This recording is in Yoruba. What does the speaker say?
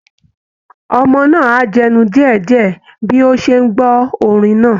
Ọmọ náà ń jẹnu díẹ̀ díẹ̀ bí ó ṣe ń gbọ́ orin náà